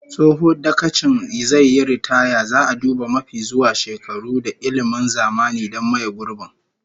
Tsohon dagacin zai yi ritaya, zaa duba mafi zuwa shekaru da ilmin zamani don maye gurbin